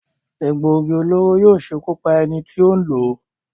Egbòogi olóró yóò ṣekú pa ẹni tí n lò ó.